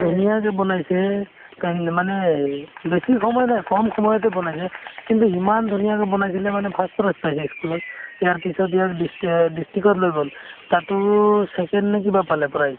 ধুনীয়া যে বনাইছে paint মানে এই বেছি সময় নাই কম সময়তে বনাইছে কিন্তু ইমান ধুনীয়াকে বনাইছিলে মানে first prize পাইছে ই school ত ইয়াৰ পিছত ইয়াক distri~ অ district ত লৈ গ'ল তাতো second নে কিবা পালে prize